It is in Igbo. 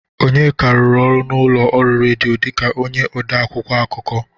Onyeka rụrụ ọrụ n'ụlọ ọrụ redio dịka onye ode akwụkwọ akụkọ.